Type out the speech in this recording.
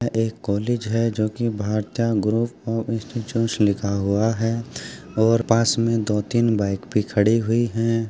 यह एक कॉलेज है जो की भारतीया ग्रुप ऑफ लिखा हुआ है। और पास मे दो तीन बाइक भी खड़ी हुई है।